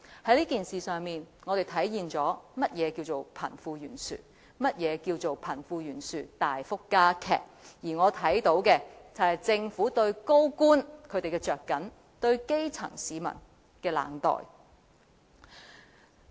在這件事上，我們體會到何謂貧富懸殊，何謂貧富懸殊大幅加劇，我也看到政府對高官的着緊、對基層市民的冷待。